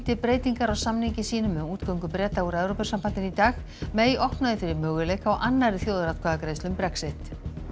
breytingar á samningi sínum um útgöngu Breta úr Evrópusambandinu í dag opnaði fyrir möguleika á annarri þjóðaratkvæðagreiðslu um Brexit